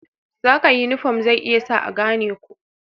Saka yunifom zai iya sa a gane ku.